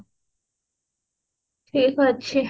ଠିକ ଅଛି